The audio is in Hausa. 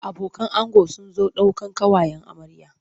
Abokan ango sun zo daukan ƙawayen amarya.